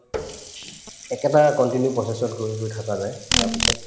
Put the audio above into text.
একেটা continue process ত গৈ গৈ থকা যায় তাৰপিছত